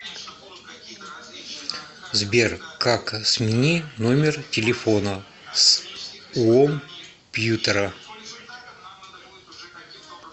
сбер как смени номер телефона с уомпьютера